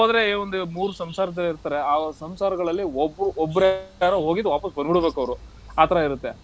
ಹೋದ್ರೆ ಒಂದು ಮೂರ್ ಸಂಸಾರದವ್ರು ಇರ್ತಾರೆ. ಆ ಸಂಸಾರಗಳೆಲ್ಲ ಒಬ್ರು~ ಒಬ್ರೇ ಯಾರೋ ಹೋಗಿದ್ದು ವಾಪಸ್ ಬಂದ್ಬಿಡಬೇಕ್ ಅವ್ರು ಆ ತರ ಇರತ್ತೆ.